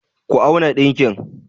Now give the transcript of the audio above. Ku auna ɗakin!